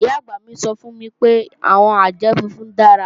Ìyá-àgbà mi sọ fún mi pé, àwọn àjẹ́ funfun dára